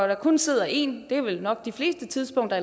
der kun sidder én eller det er vel nok de fleste tidspunkter